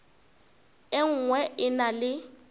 e nngwe e na le